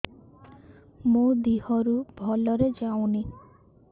ମୋ ଦିହରୁ ଭଲରେ ଯାଉନି